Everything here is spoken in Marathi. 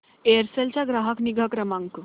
एअरसेल चा ग्राहक निगा क्रमांक